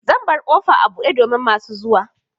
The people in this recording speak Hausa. Zan bar ƙofa a buɗe domin masu zuwa.